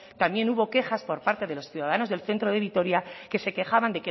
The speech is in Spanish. también hubo quejas por parte de los ciudadanos del centro de vitoria que se quejaban